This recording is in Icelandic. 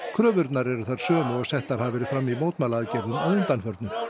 kröfurnar eru þær sömu og settar hafa verið fram í mótmælaaðgerðum að undanförnu